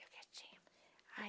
Eu quietinha. Aí